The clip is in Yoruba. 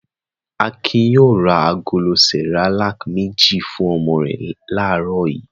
Akin yóò ra agolo Cerelac méjì fún ọmọ rẹ̀ láàárọ̀ yìí.